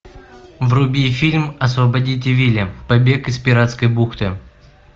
вруби фильм освободите вилли побег из пиратской бухты